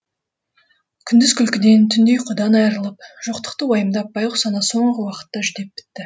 күндіз күлкіден түнде ұйқыдан айрылып жоқтықты уайымдап байғұс ана соңғы уақытта жүдеп бітті